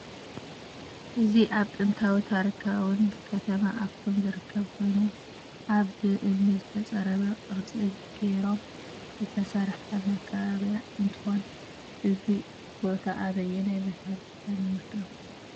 እዚ አብ ጥንታዊትን ታሪካዊትን ከተማ አክሱም ዝርከብ ኮይኑ አብ ብ እምኒ ዝተፀረበ ቅርፂ ገይሮም ዝትሰርሐ መካከብያ እንትኮን እዚ ቦታ አበየናይ ቤተክርስትያን ይመስለኩም?